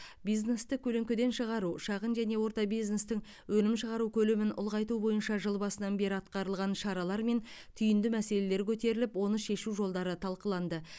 бизнесті көлеңкеден шығару шағын және орта бизнестің өнім шығару көлемін ұлғайту бойынша жыл басынан бері атқарылған шаралар мен түйінді мәселелер көтеріліп оны шешу жолдары талқыланды